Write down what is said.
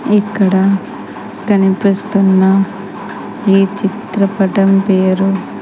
ఇక్కడ కనిపిస్తున్న ఈ చిత్రపటం పేరు.